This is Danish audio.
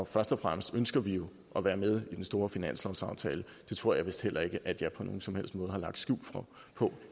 først og fremmest ønsker vi jo at være med i den store finanslovsaftale det tror jeg vist heller ikke at jeg på nogen som helst måde har lagt skjul på